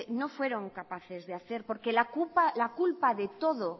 no fueron capaces de hacer porque la culpa de todo